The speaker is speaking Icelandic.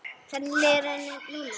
Hvernig líður henni núna?